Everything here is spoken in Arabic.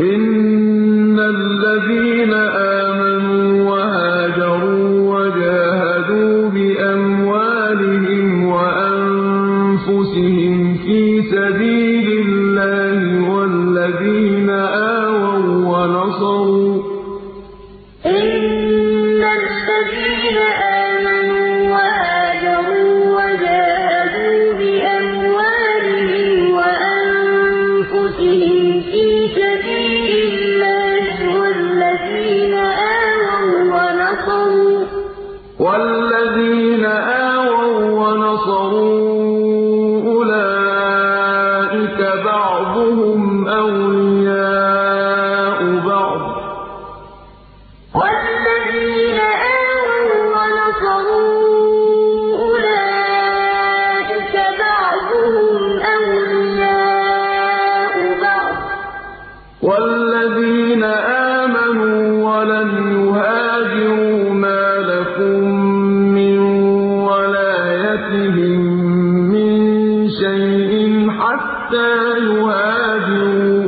إِنَّ الَّذِينَ آمَنُوا وَهَاجَرُوا وَجَاهَدُوا بِأَمْوَالِهِمْ وَأَنفُسِهِمْ فِي سَبِيلِ اللَّهِ وَالَّذِينَ آوَوا وَّنَصَرُوا أُولَٰئِكَ بَعْضُهُمْ أَوْلِيَاءُ بَعْضٍ ۚ وَالَّذِينَ آمَنُوا وَلَمْ يُهَاجِرُوا مَا لَكُم مِّن وَلَايَتِهِم مِّن شَيْءٍ حَتَّىٰ يُهَاجِرُوا ۚ